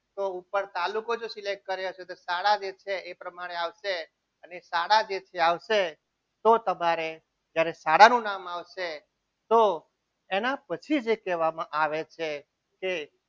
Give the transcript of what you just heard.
તો ઉપર તાલુકો select કર્યો હશે તો શાળા જે છે એ પ્રમાણે આવશે અને શાળા જે છે આવશે તો તમારે જ્યારે શાળાનું નામ આવશે તો એના પછી જે કહેવામાં આવે છે તે